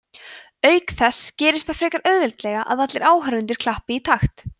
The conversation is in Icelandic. auk þess gerist það frekar auðveldlega að allir áhorfendur klappi í takt